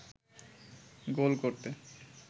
গোল করতে